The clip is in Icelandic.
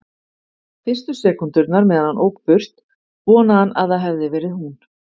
Fyrstu sekúndurnar meðan hann ók burt vonaði hann að það hefði verið hún.